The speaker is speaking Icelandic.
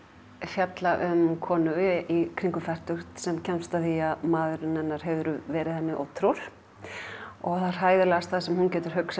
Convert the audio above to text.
fjalla um konur í kringum fertugt sem kemst að því að maðurinn hennar hefur verið henni ótrúr það hræðilegasta sem hún getur hugsað